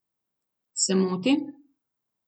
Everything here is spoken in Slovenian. Se motim?